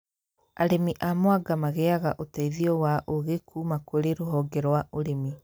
Arĩmi a mwanga magĩaga ũteithio wa ũũgĩ kũma kũrĩ rũhonge rũa ũrĩmi